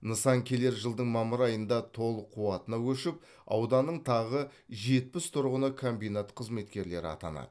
нысан келер жылдың мамыр айында толық қуатына көшіп ауданның тағы жетпіс тұрғыны комбинат қызметкері атанады